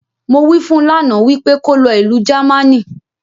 Mo wí fun lánàá, wípé kó lọ Ìlu Jámánì